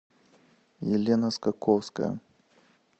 елена скаковская